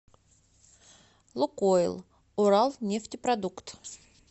лукойл уралнефтепродукт